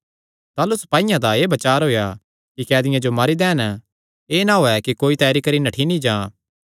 ताह़लू सपाईयां दा एह़ बचार होएया कि कैदियां जो मारी दैन एह़ ना होयैं कि कोई तैरी करी नठ्ठी नीं जां